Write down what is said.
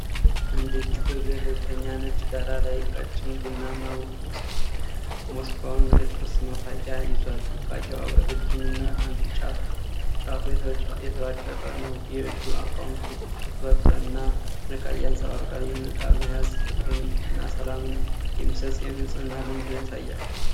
አንድ እጅ በገለልተኛ ነጭ ዳራ ላይ ቀጭን ቡናማ ምስዋክን (የጥርስ መፋቂያ) ይዟል። መፋቂያዋ ረጅም እና አንድ ጫፉ የተቦጫጨቀ ነው። የእጁ አቋም ትኩረት እና ጥንቃቄን ያንጸባርቃል። ይህን ዕቃ መያዝ ፍቅርንና ሰላምን የሚሰጥ የንጽህና ልምድን ያሳያል።